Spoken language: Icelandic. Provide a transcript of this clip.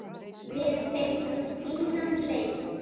Við fengum fínan leik.